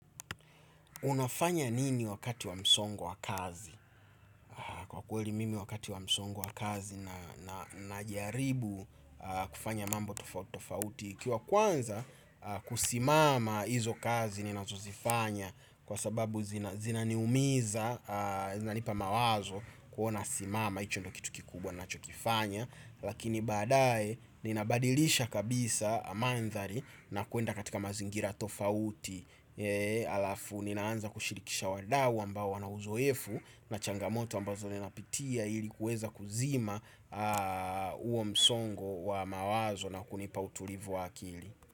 Unafanya nini wakati wa msongo wa kazi? Kwa kweli mimi wakati wa msongo wa kazi na najaribu kufanya mambo tofauti ikiwa kwanza kusimama hizo kazi ninazo zifanya. Kwa sababu zinaniumiza zanipa mawazo kuona simama. Hicho ndio kitu kikubwa ninachokifanya. Lakini badaye ninabadilisha kabisa madhari na kuenda katika mazingira tofauti. Alafu ninaanza kushirikisha wadawu ambao wanauzoefu. Na changamoto ambazo ninapitia ili kuweza kuzima uo msongo wa mawazo na kunipa utulivu wa akili.